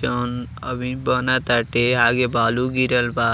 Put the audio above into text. जौन अभी बन ताटे। आगे बालू गिरल बा।